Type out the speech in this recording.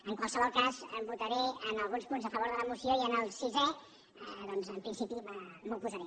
en qualsevol cas votaré en alguns punts a favor de la moció i en el sisè doncs en principi m’hi oposaré